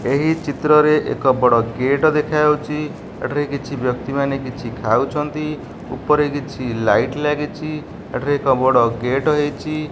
ଏହି ଚିତ୍ରରେ ଏକ ବଡ଼ ଗେଟ ଦେଖାଯାଉଚି। ଏଠାରେ କିଛି ବ୍ୟକ୍ତିମାନେ କିଛି ଖାଉଛନ୍ତି। ଉପରେ କିଛି ଲାଇଟ୍ ଲାଗିଚି ଏଠାରେ ଏକ ବଡ଼ ଗେଟ୍ ହେଇଚି।